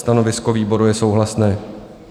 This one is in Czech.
Stanovisko výboru je souhlasné.